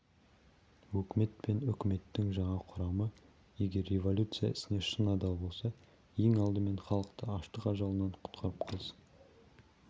өкімет пен үкіметтің жаңа құрамы егер революция ісіне шын адал болса ең алдымен халықты аштық ажалынан құтқарып қалсын